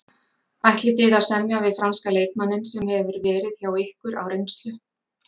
Ætlið þið að semja við franska leikmanninn sem hefur verið hjá ykkur á reynslu?